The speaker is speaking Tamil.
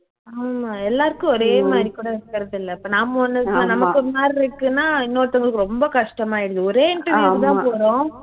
ஆமா எல்லாருக்கும் ஒரே மாதிரி கூட இருக்குறதில்லை இப்போ நாம ஒண்ணு இருக்கு நமக்கு ஒரு மாதிரி இருக்குன்னா இன்னோருத்தவங்களுக்கு ரொம்ப கஷ்டம் ஆயிடுது ஒரே interview க்கு தான் போறோம்